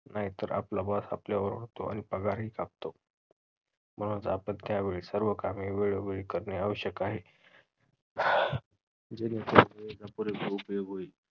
नाहीतर आपला boss आपल्यावर ओरडतो आणि पगारही कापतो. म्हणूनच आपण त्यावेळी सर्व कामे वेळोवेळी करणे आवश्यक आहे. जेणेकरून वेळेचा पुरेपूर उपयोग होईल.